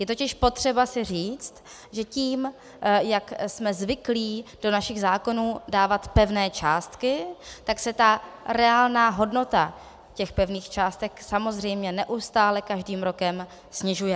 Je totiž potřeba si říct, že tím, jak jsme zvyklí do našich zákonů dávat pevné částky, tak se ta reálná hodnota těch pevných částek samozřejmě neustále každým rokem snižuje.